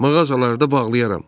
Mağazaları da bağlayaram.